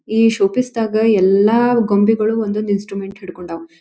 ಈ show piece ದಾಗ ಎಲ್ಲ ಗೊಂಬೆಗಳು ಒಂದೊಂದು ಇನ್ಸ್ಟ್ರುಮೆಂಟ್ಸ್ ಹಿಡ್ಕೊಂಡಾವು.